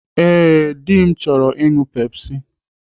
Ee, dị m chọrọ ịṅụ Pepsi.